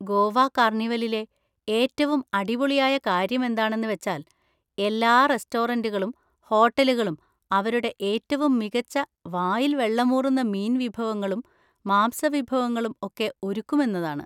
ഗോവ കാർണിവലിലെ ഏറ്റവും അടിപൊളിയായ കാര്യം എന്താണെന്ന് വെച്ചാൽ എല്ലാ റെസ്റ്റോറന്റുകളും ഹോട്ടലുകളും അവരുടെ ഏറ്റവും മികച്ച വായിൽ വെള്ളമൂറുന്ന മീൻ വിഭവങ്ങളും മാംസവിഭവങ്ങളും ഒക്കെ ഒരുക്കും എന്നതാണ്.